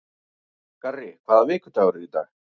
Garri, hvaða vikudagur er í dag?